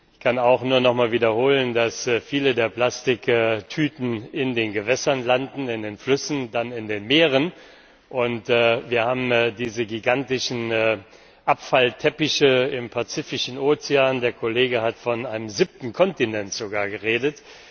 Ich kann auch nur nochmals wiederholen, dass viele der Plastiktüten in den Gewässern landen, erst in den Flüssen, dann in den Meeren. Wir haben diese gigantischen Abfallteppiche im Pazifischen Ozean der Kollege hat sogar von einem siebten Kontinent geredet.